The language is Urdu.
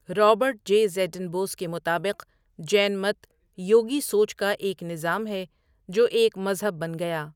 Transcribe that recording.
رابرٹ جے زیڈن بوس کے مطابق جین مت یوگی سوچ کا ایک نظام ہے جو ایک مذہب بن گیا۔